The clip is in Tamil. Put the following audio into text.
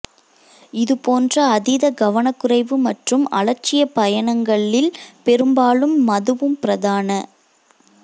இதுபோன்ற அதீத கவனக்குறைவு மற்றும் அலட்சியப் பயணங்களில் பெரும்பாலும் மதுவும் பிரதான